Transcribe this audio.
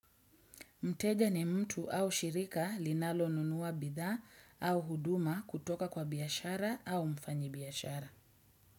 Mteja ni mtu au shirika linalo nunua bidhaa au huduma kutoka kwa biashara au mfanyi biashara.